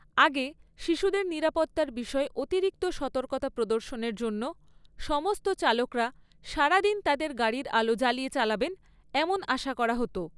আগে, শিশুদের নিরাপত্তার বিষয়ে অতিরিক্ত সতর্কতা প্রদর্শনের জন্য সমস্ত চালকরা সারাদিন তাদের গাড়ির আলো জ্বালিয়ে চালাবেন এমন আশা করা হত।